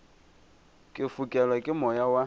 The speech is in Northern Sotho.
ke fokelwa ke moya wa